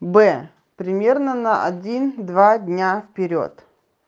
бэ примерно на один-два дня вперёд